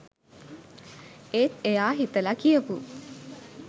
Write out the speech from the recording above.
ඒත් එයා හිතලා කියපු